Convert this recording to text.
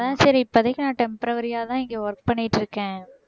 அதான் சரி இப்போதைக்கு நான் temporary யா தான் இங்க work பண்ணிட்டு இருக்கேன்